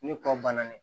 Ni kɔ banna ye